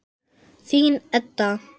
Þín, Edda.